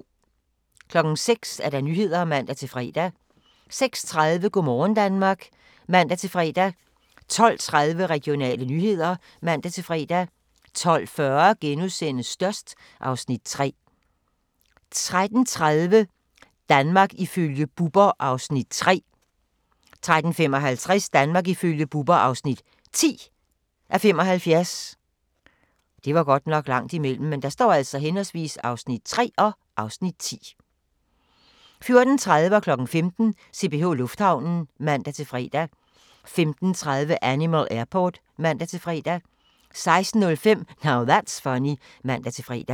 06:00: Nyhederne (man-fre) 06:30: Go' morgen Danmark (man-fre) 12:30: Regionale nyheder (man-fre) 12:40: Størst (Afs. 3)* 13:30: Danmark ifølge Bubber (3:75) 13:55: Danmark ifølge Bubber (10:75) 14:30: CPH Lufthavnen (man-fre) 15:00: CPH Lufthavnen (man-fre) 15:30: Animal Airport (man-fre) 16:05: Now That's Funny (man-fre)